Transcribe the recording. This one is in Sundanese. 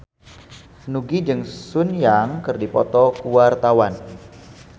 Nugie jeung Sun Yang keur dipoto ku wartawan